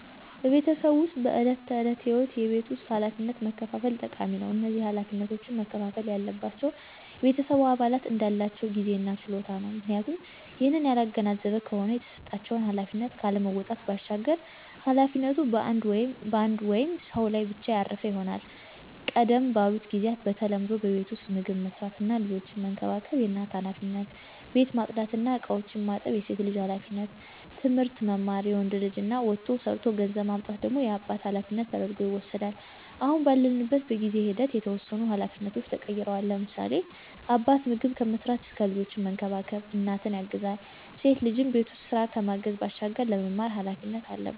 በቤተሰብ ዉስጥ በዕለት ተዕለት ህይወት የቤት ውስጥ ኃላፊነቶችን መከፋፈል ጠቃሚ ነው። እነዚህ ኃላፊነቶች መከፍፈል ያለባቸው የቤተሰብ አባላት እንዳላቸው ጊዜ እና ችሎታ ነው፤ ምክንያቱም ይህንን ያላገናዘበ ከሆነ የተሰጣቸውን ኃላፊነት ካለመወጣት ባሻገር ኃላፊነቱ በአንድ ወይም ሰው ላይ ብቻ ያረፈ ይሆናል። ቀደም ባሉት ጊዚያት በተለምዶ በቤት ዉስጥ ምግብ መስራት እና ልጆችን መንከባከብ የእናት ኃላፊነት፣ ቤት ማፅዳት እና እቃዎችን ማጠብ የሴት ልጅ ኃላፊነት፣ ትምህርት መማር የወንድ ልጅ እና ወጥቶ ሠርቶ ገንዘብ ማምጣት ደግሞ የአባት ኃላፊነት ተደርጐ ይወስዳል። አሁን ባለንበት በጊዜ ሂደት የተወሰኑ ኃላፊነቶች ተቀይረዋል፤ ለምሳሌ፦ አባት ምግብ ከመስራት እስከ ልጆችን መንከባከብ እናትን ያግዛል፣ ሴት ልጅም በቤት ውስጥ ስራ ከማገዝ ባሻገር ለመማር ኃላፊነት አለባት።